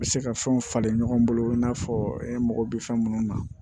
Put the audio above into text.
U bɛ se ka fɛnw falen ɲɔgɔn bolo i n'a fɔ e mago bɛ fɛn minnu na